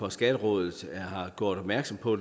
at skatterådet har gjort opmærksom på